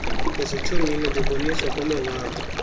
ezitshomini beboniswa kwamawabo